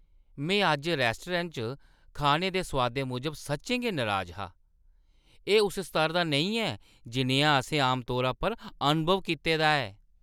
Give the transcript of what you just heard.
में अज्ज रैस्टोरैंट च खाने दे सोआदै मूजब सच्चें गै नराज हा। एह् उस स्तर दा नेईं ऐ जनेहा असें आमतौरा पर अनुभव कीते दा ऐ।